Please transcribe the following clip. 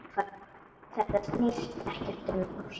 Þetta snýst ekkert um ást.